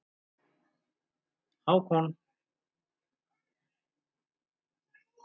Hákon